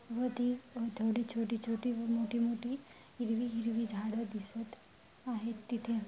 व ती छोटी छोटी व मोठी मोठी हिरवी हिरवी झाडे दिसत आहे तिथे--